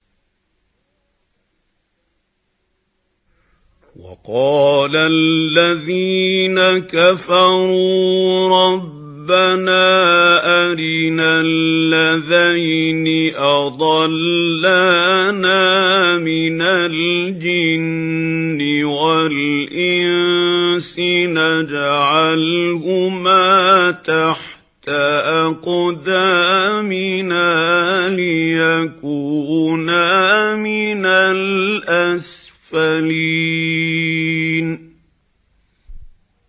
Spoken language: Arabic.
وَقَالَ الَّذِينَ كَفَرُوا رَبَّنَا أَرِنَا اللَّذَيْنِ أَضَلَّانَا مِنَ الْجِنِّ وَالْإِنسِ نَجْعَلْهُمَا تَحْتَ أَقْدَامِنَا لِيَكُونَا مِنَ الْأَسْفَلِينَ